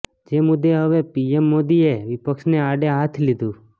જે મુદ્દે હવે પીએમ મોદીએ વિપક્ષને આડે હાથ લીધું